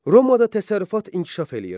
Romada təsərrüfat inkişaf eləyirdi.